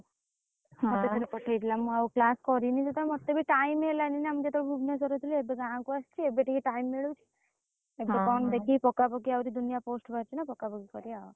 ମତେ ଥରେ ପଠେଇଥିଲା ମୁଁ ଆଉ class କରିନି ସେଥିରେ ମତେ ବି time ହେଲାନି ନା ମୁଁ ସେତବଳେ Bhubaneswar ରେ ଥିଲି ଏବେ ଗାଁ କୁ ଆସିଚି ଏବେ ଟିକେ time ମିଳୁଚି। ସେଥିପାଇଁ ମୁଁ ଦେଖିକି ପକାପକି ଆହୁରି ଦୁନିଆ post ବାହାଚି ନା ପକାପକି କରିଆଆଉ।